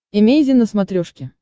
эмейзин на смотрешке